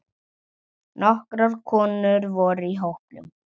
Nokkrar konur voru í hópnum.